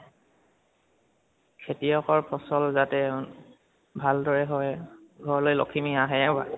খেতিয়কৰ ফচল যাতে ভাল দৰে হয় আৰু ঘাৰলৈ লক্ষ্মী আহে